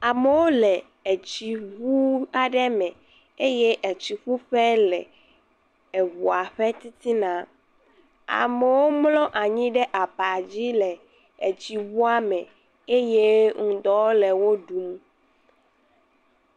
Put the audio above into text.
Amewo le etsi ŋu aɖe me eye etsiƒu ƒe le eŋu ƒe titina, amewo mlɔ anyi ɖe aba dzi le etsi ŋua me eye ŋdɔ le wo ɖum.